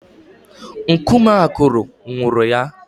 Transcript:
Nkume akụrụ nwụrụ ya.